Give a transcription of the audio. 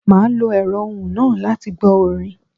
Màá lo èrọ́ ohùn náà láti gbó orin